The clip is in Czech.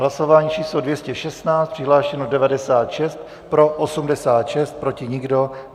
Hlasování číslo 216, přihlášeno 96, pro 86, proti nikdo.